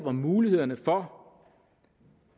om mulighederne for